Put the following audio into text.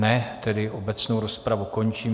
Ne, tedy obecnou rozpravu končím.